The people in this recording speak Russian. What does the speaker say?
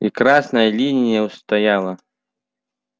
и красная линия устояла